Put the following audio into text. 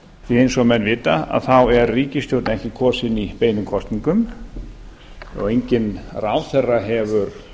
því að eins og menn vita þá er ríkisstjórn einkum kosin í beinum kosningum og enginn ráðherra hefur